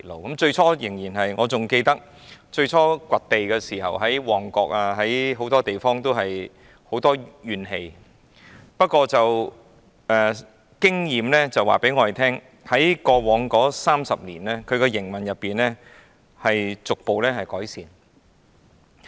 還記得港鐵公司最初展開掘地工程時，在旺角等很多地區引起民怨，但經驗告訴我們，港鐵公司在過往30年的營運中，表現逐步改善。